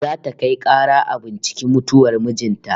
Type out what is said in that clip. Za ta kai kara a binciki mutuwar mijin ta